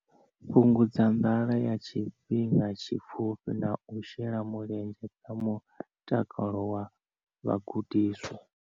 Fhungudza nḓala ya tshifhinga tshipfufhi na u shela mulenzhe kha mutakalo wa vhagudiswa.